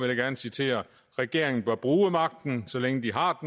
jeg gerne citere regeringen bør bruge magten så længe de har